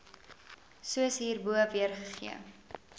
soos hierbo weergegee